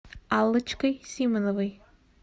аллочкой симоновой